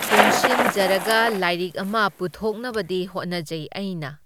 ꯄꯨꯟꯁꯤꯟꯖꯔꯒ ꯂꯥꯏꯔꯤꯛ ꯑꯃ ꯄꯨꯊꯣꯛꯅꯕꯗꯤ ꯍꯣꯠꯅꯖꯩ ꯑꯩꯅ꯫